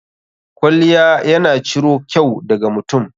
Kwalliya ya na ciro kyau da ga mutum.